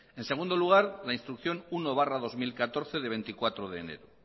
en segundo lugar la instrucción uno barra dos mil catorce de veinticuatro de enero